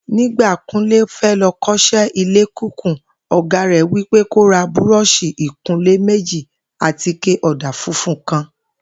Nígbà Kúnlé fé̩ lo̩ kó̩s̩é̩ ilé kíkùn, ò̩gá rè̩ wí pé kó ra búró̩ò̩s̩ì ìkunlé méjì àtike ò̩dà funfun kan